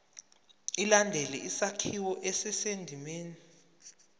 ilandele isakhiwo esisendimeni